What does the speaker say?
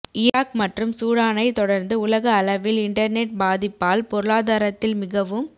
Iraq மற்றும் சூடானை தொடர்ந்து உலக அளவில் இன்டர்நெட் பாதிப்பால் பொருளாதாரத்தில் மிகவும்